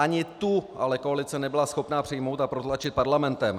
Ani tu ale koalice nebyla schopna přijmout a protlačit parlamentem.